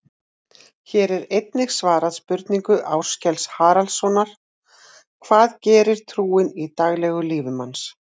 Hér er einnig svarað spurningu Áskels Harðarsonar: Hvað gerir trúin í daglegu lífi manns?